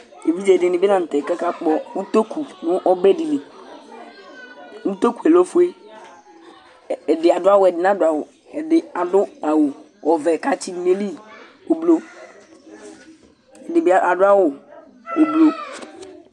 Evidze dìní bi la ntɛ kʋ aka kpɔ ʋtoku nu ɔbɛ di li Ʋtoku lɛ ɔfʋe Ɛdí adu awu Ɛdí nadu awu Ɛdí adu awu ɔvɛ kʋ atsi du nʋ ayìlí ʋblue Ɛdíbi ʋblue